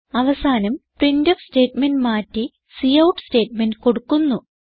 അവസാനം printf statement മാറ്റി cout statement കൊടുക്കുന്നു